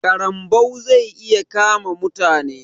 ƙarambau zai iya kama mutane.